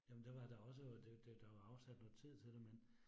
Jamen det var der også jo, det det der var afsat noget tid til det men